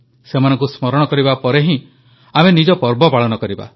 ସେମାନଙ୍କୁ ସ୍ମରଣ କରିବା ପରେ ହିଁ ଆମେ ନିଜ ପର୍ବ ପାଳନ କରିବା